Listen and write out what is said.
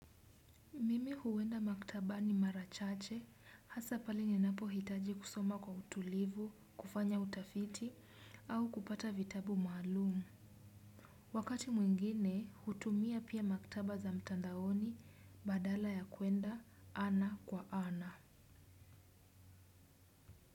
Mimi huwenda maktabani mara chache, hasa pale ninapo hitaji kusoma kwa utulivu, kufanya utafiti, au kupata vitabu maalumu. Wakati mwingine, hutumia pia maktaba za mtandaoni, badala ya kuenda, ana kwa ana.